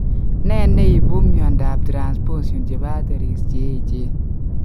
Ne ne ipu miondap Transposition chepo arteries cheechen?